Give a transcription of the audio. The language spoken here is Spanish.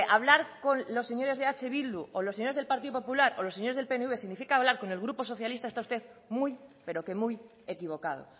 hablar con los señores de eh bildu o los señores del partido popular o lo señores del pnv significa hablar con el grupo socialista está usted muy pero que muy equivocado